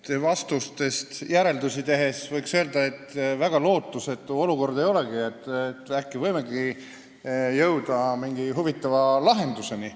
Teie vastustest järeldusi tehes võiks öelda, et väga lootusetu olukord ei olegi, äkki võimegi jõuda mingi huvitava lahenduseni.